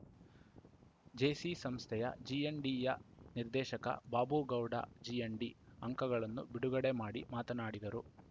JC ಸಂಸ್ಥೆಯ ಜಿಎನ್‌ಡಿಯ ನಿರ್ದೇಶಕ ಬಾಬುಗೌಡ ಜಿಎನ್‌ಡಿ ಅಂಕಗಳನ್ನು ಬಿಡುಗಡೆ ಮಾಡಿ ಮಾತನಾಡಿದರು